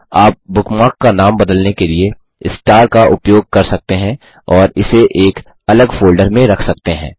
आप बुकमार्क का नाम बदलने के लिए स्टार का उपयोग कर सकते हैं और इसे एक अलग फ़ोल्डर में रख सकते हैं